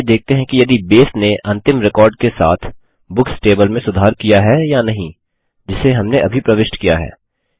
चलिए देखते हैं कि यदि बसे नें अंतिम रिकॉर्ड के साथ बुक्स टेबल में सुधार किया है या नहीं जिसे हमने अभी प्रविष्ट किया है